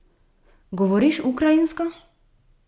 Govoriš ukrajinsko?